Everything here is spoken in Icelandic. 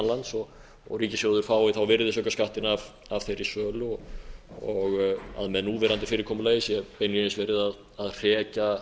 lands og ríkissjóður fái þá virðisaukaskattinn af þeirri sölu og að með núverandi fyrirkomulagi sé beinlínis verið að hrekja